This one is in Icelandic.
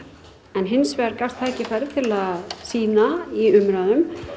en hins vegar gafst tækifæri til að sýna í umræðum